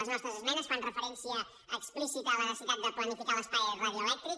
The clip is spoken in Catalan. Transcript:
les nostres esmenes fan referència explícita a la necessitat de planificar l’espai radioelèctric